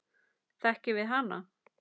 Þekkjum við hana?